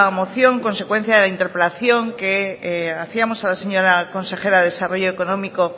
moción consecuencia de interpelación que hacíamos a la señora consejera de desarrollo económico